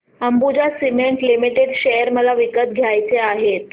Ambuja cement limited share मला विकत घ्यायचे आहेत